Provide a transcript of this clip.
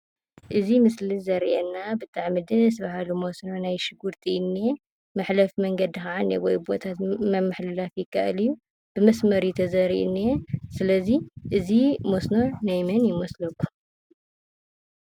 እዚ ምስሊ ዘርእየና ብጣዕሚ ደስ በሃሊ መስኖ ናይ ሽጉርቲ እዩ እንሄ። መሕለፊ መገዲ ከዓ እንኤዎ ቡኡ ምምሕልላፍ ይካአል እዩ:: ብመስመር እዩ ተዘሪኡ ዘንኤ። ስለዚ እዚ መስኖ ናይ መን ይመስለኩም ?